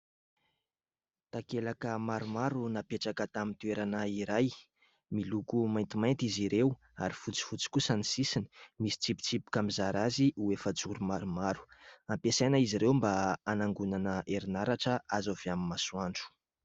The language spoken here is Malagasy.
Takelaka maromaro napetraka tamin'ny toerana iray miloko maintimainty izy ireo ary fotsy fotsy kosa ny sisiny ; misy tsipitsipika mizara azy ho efajoro maromaro. Ampiasaina izy ireo mba hanangonana herinaratra azo avy amin'ny masoandro.